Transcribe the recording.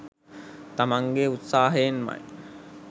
තමන්ගේ උත්සාහයෙන්මයි